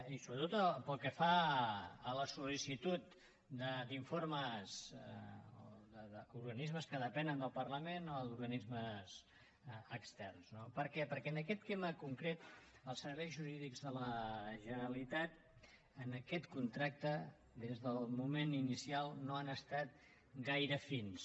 i sobretot pel que fa a la soldel parlament o d’organismes externs no per què perquè en aquest tema concret els serveis jurídics de la generalitat en aquest contracte des del moment inicial no han estat gaire fins